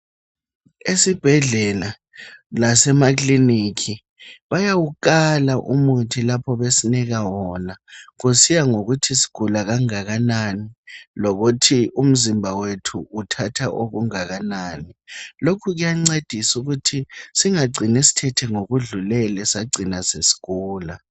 Esibhedlela lasemakiliniki bayawukala umuthi lapho besinika wona kusiya ngokuthi sigula kangakanani lokuthi umzimba wethu uthatha okungakanani lokhu kuyancedisa ukuthi singacini sithethe ngokudlulele sagcina sesigula.